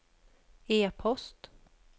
e-post